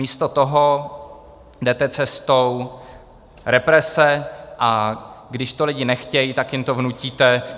Místo toho jdete cestou represe, a když to lidi nechtějí, tak jim to vnutíte.